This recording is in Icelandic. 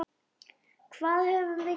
Hvað höfum við gert?